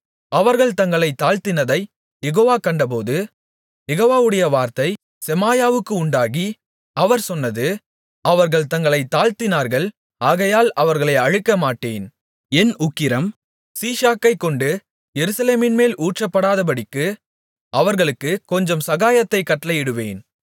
அவர்கள் தங்களைத் தாழ்த்தினதைக் யெகோவா கண்டபோது யெகோவாவுடைய வார்த்தை செமாயாவுக்கு உண்டாகி அவர் சொன்னது அவர்கள் தங்களைத் தாழ்த்தினார்கள் ஆகையால் அவர்களை அழிக்கமாட்டேன் என் உக்கிரம் சீஷாக்கைக்கொண்டு எருசலேமின்மேல் ஊற்றப்படாதபடிக்கு அவர்களுக்குக் கொஞ்சம் சகாயத்தைக் கட்டளையிடுவேன்